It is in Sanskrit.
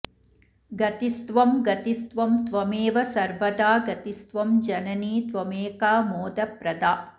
गतिस्त्वं गतिस्त्वं त्वमेव सर्वदा गतिस्त्वं जननि त्वमेका मोदप्रदा